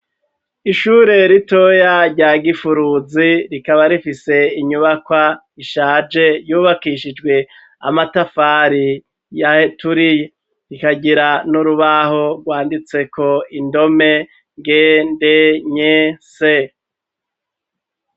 Ishure ritoya rya gifuruzi rikaba rifise inyubaka ishaje yubakishijwe amatafari ya heturi rikagira n'urubaho rwanditseko indome ngende nye se.